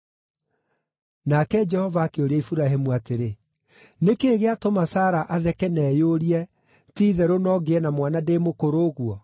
Nake Jehova akĩũria Iburahĩmu atĩrĩ, “Nĩ kĩĩ gĩatũma Sara atheke na eyũrie, ‘Ti-itherũ no ngĩe na mwana ndĩ mũkũrũ ũguo?’